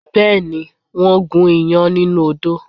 Bẹ́ẹ̀ ni, wọ́n gún iyán nínú odó